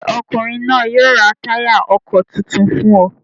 Ṣé ọkùnrin náà yóò ra táyà ọkọ̀ tuntun fún ọ?